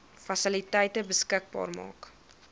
fasiliteite beskikbaar maak